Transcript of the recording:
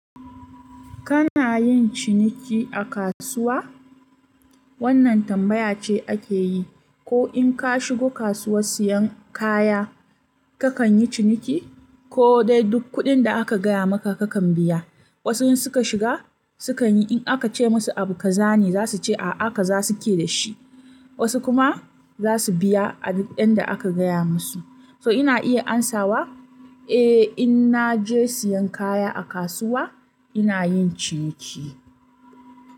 Kana yin ciniki a kasuwa? Wannan tambaya ce ake yi. Ko in ka shigo kasuwa siyan kaya, kakan yi ciniki ko dai duk kuɗin da aka gaya maka kakan biya. Wasu in suka shiga sukan yi in aka ce musu abu kaza ne, za su ce a'a, haka za su ke da shi. Wasu kuma za su biya abu ɗin da aka gaya musu. So ina iya amsawa? Eh, in na je siyan kaya a kasuwa, ina yin ciniki.